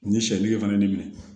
U ni sɛ deg